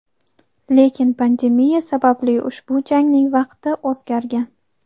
Lekin pandemiya sababli ushbu jangning vaqti o‘zgargan.